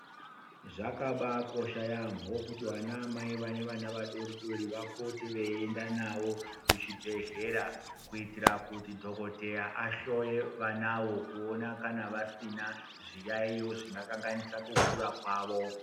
Zvakabaakosha yaamho kuti vanaamai vane vana vadodori vapote veienda navo kuchibhehlera kuitira kuti dhokodheya anhloye vanavo kuona kana vasina zviyayiyo zvingakanganisa kukura kwavo.